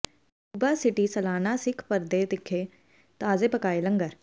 Yuba City ਸਾਲਾਨਾ Sikh parade ਵਿਖੇ ਤਾਜ਼ੇ ਪਕਾਏ ਲੰਗਰ